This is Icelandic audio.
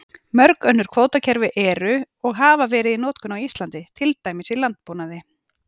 Mörg önnur kvótakerfi eru og hafa verið í notkun á Íslandi, til dæmis í landbúnaði.